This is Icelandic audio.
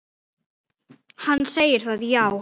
Hann segir það, já.